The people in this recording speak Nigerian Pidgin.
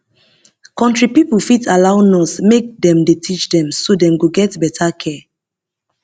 country pipo fit allow nurse make dey teach dem so dem go get better care